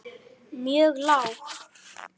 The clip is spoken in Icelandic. mjög lág.